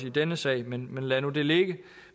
i denne sag men men lad nu det ligge